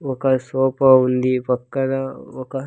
ఒక సోఫా ఉంది పక్కన ఒక.